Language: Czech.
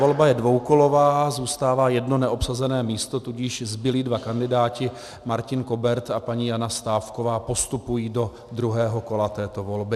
Volba je dvoukolová, zůstává jedno neobsazené místo, tudíž zbylí dva kandidáti, Martin Kobert a paní Jana Stávková, postupují do druhého kola této volby.